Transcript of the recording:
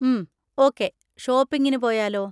ഉം, ഓക്കേ, ഷോപ്പിങ്ങിന് പോയാലോ?